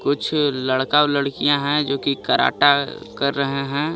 कुछ लड़का और लड़किया हैं जोकि कराटा कर रहे हैं.